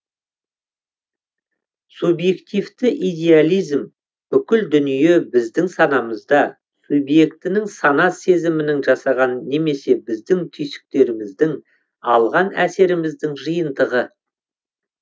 субъективті идеализм бүкіл дүние біздің санамызда субъектінің сана сезімінің жасаған немесе біздің түйсіктеріміздің алған әсеріміздің жиынтығы